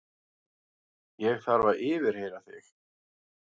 Ég þarf að yfirheyra þig.